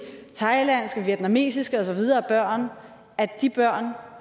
thailandske og vietnamesiske og så videre børn at de børn